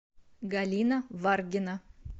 галина варгина